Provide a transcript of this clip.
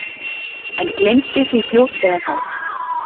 En gleymdi því fljótlega þá.